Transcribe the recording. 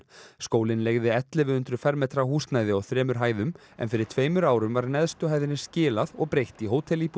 skólinn leigði ellefu hundruð fermetra húsnæði á þremur hæðum en fyrir tveimur árum var neðstu hæðinni skilað og breytt í